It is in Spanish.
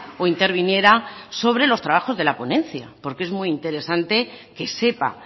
o interviniera sobre los trabajos de la ponencia porque es muy interesante que sepa